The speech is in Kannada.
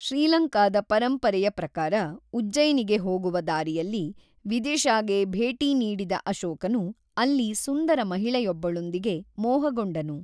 ಶ್ರೀಲಂಕಾದ ಪರಂಪರೆಯ ಪ್ರಕಾರ, ಉಜ್ಜಯಿನಿಗೆ ಹೋಗುವ ದಾರಿಯಲ್ಲಿ ವಿದಿಶಾಗೆ ಭೇಟಿ ನೀಡಿದ ಅಶೋಕನು, ಅಲ್ಲಿ ಸುಂದರ ಮಹಿಳೆಯೊಬ್ಬಳೊಂದಿಗೆ ಮೋಹಗೊಂಡನು.